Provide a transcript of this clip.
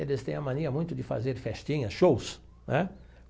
Eles têm a mania muito de fazer festinhas, shows, né?